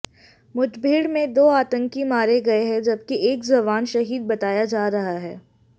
मुठभेड़ में दो आतंकी मारे गए हैं जबकि एक जवान शहीद बताया जा रहा है